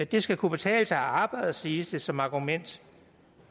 det skal kunne betale sig at arbejde siges det som argument